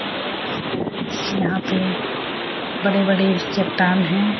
पेड़ बना हुआ है यहाँ पे बड़े-बड़े चट्टान है।